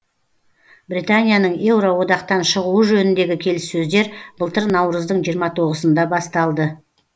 британияның еуроодақтан шығуы жөніндегі келіссөздер былтыр наурыздың жиырма тоғызында басталды